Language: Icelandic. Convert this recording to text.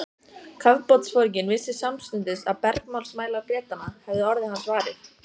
Kafbátsforinginn vissi samstundis að bergmálsmælar Bretanna hefðu orðið hans varir.